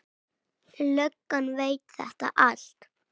Löggan veit þetta allt.